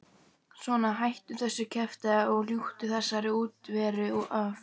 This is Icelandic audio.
Svona, hættu þessu kjaftæði og ljúktu þessari útiveru af.